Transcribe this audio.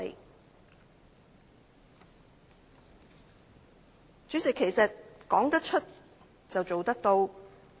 代理主席，說得出，便要做得到。